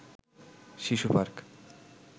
শিশু পার্ক